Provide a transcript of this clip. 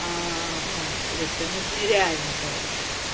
а ну блядь ну это реально короче